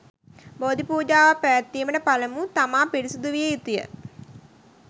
බෝධි පූජාවක් පැවැත්වීමට පළමු තමා පිරිසුදු විය යුතුය.